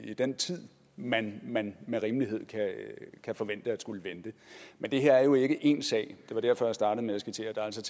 i den tid man man med rimelighed kan forvente at skulle vente men det her er jo ikke én sag det var derfor jeg startede med at skitsere at der altså